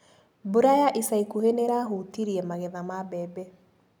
Mbura ya ica ikuhĩ nĩirahutirie magetha ma mbembe.